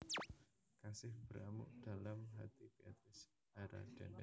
Kasih Beramuk dalam Hati Beatrice Harraden